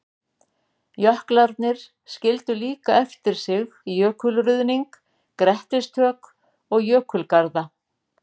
Jöklarnir skildu líka eftir sig jökulruðning, grettistök og jökulgarða.